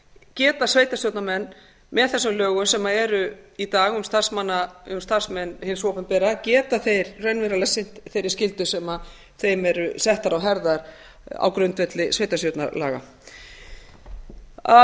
geta sveitarstjórnarmenn með þessum lögum sem eru í dag um starfsmenn hins opinbera geta þeir raunverulega sinnt þeirri skyldu sem þeim er sett á herðar á grundvelli sveitarstjórnarlaga að